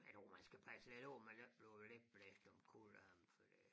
Jeg tror man skal passe lidt på man ikke bliver lidt blæst omkuld af dem fordi